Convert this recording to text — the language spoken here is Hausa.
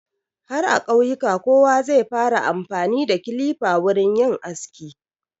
Har a ƙauyuka kowa zai fara amfani da kilifa wurin yin aski.